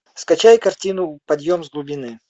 скачай картину подъем с глубины